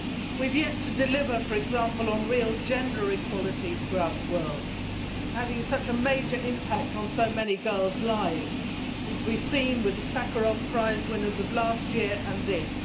We have yet to deliver, for example, on real gender equality throughout the world, which is having such a major impact on so many girls' lives, as we have clearly seen from the Sakharov Prize winners of last year and this.